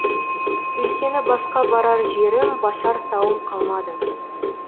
өйткені басқа барар жерім басар тауым қалмады